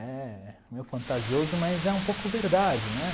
É meio fantasioso, mas é um pouco verdade, né?